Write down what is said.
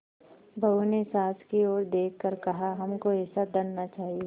बहू ने सास की ओर देख कर कहाहमको ऐसा धन न चाहिए